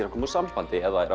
að koma úr sambandi